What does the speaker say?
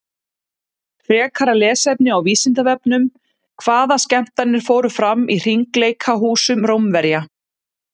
Frekara lesefni á Vísindavefnum: Hvaða skemmtanir fóru fram í hringleikahúsum Rómverja?